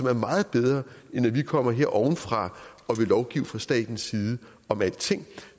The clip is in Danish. er meget bedre end at vi kommer her ovenfra og vil lovgive fra statens side om alting